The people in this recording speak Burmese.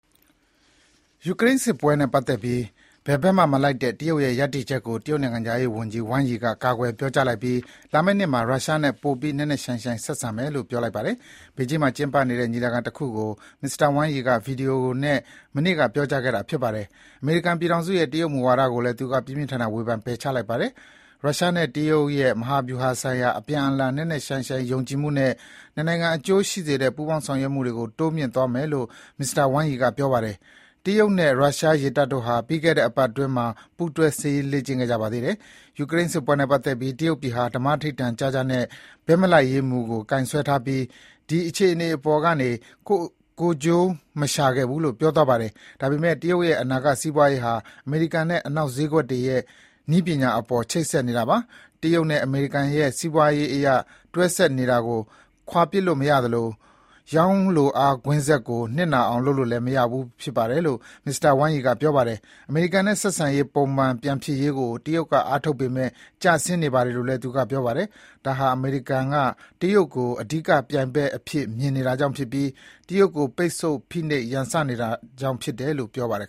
ယူကရိန်းစစ်ပွဲနဲ့ပတ်သက်ပြီး ဘယ်ဘက်မှမလိုက်တဲ့ တရုတ်ရဲ့ရပ်တည်ချက် ကို တရုတ်နိုင်ငံခြားရေးဝန်ကြီးဝမ်ယီက ကာကွယ်ပြောကြားလိုက်ပြီး လာမယ့်နှစ်မှာ ရုရှားနဲ့ ပိုပြီး နက်နက်ရှိုင်းရှိုင်းဆက်ဆံမယ်လို့ ပြောလိုက်ပါတယ်။ ဘေကျင်းမှာ မနေ့ကကျင်းပခဲ့တဲ့ဗွီဒီယိုညီလာခံတခုကို မစ္စတာဝမ်ယီက ပြောကြားခဲ့တာဖြစ်ပါတယ်။ အမေရိကန်ပြည်ထောင်စုရဲ့ တရုတ်မူဝါဒကိုလည်း သူ က ပြင်းပြင်းထန်ထန် ဝေဖန်ပယ်ချလိုက်ပါတယ်။ ရုရှားနဲ့တရုတ်ရဲ့ မဟာဗျူဟာဆိုင်ရာ အပြန်အလှန် နက်နက်ရှိုင်းရှိုင်းယုံကြည်မှုနဲ့ နှစ်နိုင်ငံအကျိုးရှိစေတဲ့ ပူးပေါင်းဆောင်ရွက်မှုတွေကိုမြှင့်တင်သွားမယ်လို့ မစ္စတာဝမ်ယီကပြောပါတယ်။ တရုတ်နဲ့ရုရှားရေတပ်တို့ဟာ ပြီးခဲ့တဲ့အပတ်အတွင်းမှာ ပူးတွဲစစ်ရေး လေ့ကျင့်ခဲ့ကြပါသေးတယ်။ ယူကရိန်းစစ်ပွဲနဲ့ပတ်သက်လို့ တရုတ်ပြည်ဟာ ဓမ္မဓိဌာန်ကျကျနဲ့ ဘက်မလိုက်ရေးမူကိုကိုင်စွဲထားပြီး ဒီ အခြေအနေပေါ်ကနေ ကိုယ့်ကိုယ်ကျိုးမရှာခဲ့ဘူးလို့ ပြောသွားပါတယ်။ ဒါပေမဲ့ တရုတ်ရဲ့ အနာဂတ်စီးပွါးရေးဟာ အမေရိကန်နဲ့ အနောက်ဈေးကွက်တွေနဲ့ နည်းပညာအပေါ် ချိတ်ဆက်နေတာပါ။ တရုတ်နဲ့အမေရိကန်ရဲ့ စီးပွါးရေးအရတွဲဆက်နေတာကို ခွါပစ်လို့မရသလို ရောင်းလိုအားကွင်းဆက်ကို နစ်နာအောင်လုပ်လို့လည်းမဖြစ်ပါဘူးလို့ မစ္စတာဝမ်ယီက ဆိုပါတယ်။ အမေရိကန်နဲ့ဆက်ဆံရေး ပုံမှန်ပြန်ဖြစ်ရေးကို တရုတ်က အားထုတ်ပေမဲ့ ကျဆင်းနေ နေပါတယ်လို့လည်း သူက ပြောပါတယ်။ ဒါဟာ အမေရိကန်က တရုတ်ကို အဓိကပြိုင်ဘက်အဖြစ်မြင်နေတာကြောင့် ဖြစ်ပြီး တရုတ် ကို ပိတ်ဆို့၊ ဖိနှိပ်၊ ရန်စနေတာကြောင့် ဖြစ်တယ်လို့ ပြောသွားပါတယ်